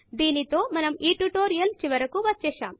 దీనితో మనము ఈ ట్యుటోరియల్ చివరకు వచ్చేశాం